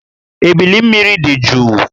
Ébílí mmiri dị jụụ